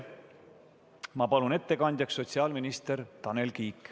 Ma palun ettekandjaks sotsiaalminister Tanel Kiige.